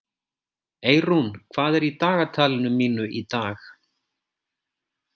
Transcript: Eyrún, hvað er í dagatalinu mínu í dag?